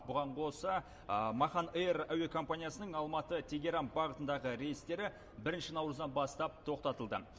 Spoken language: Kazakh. бұған қоса махан эйр әуе компаниясының алматы тегеран бағытындағы рейстері бірінші наурыздан бастап тоқтатылды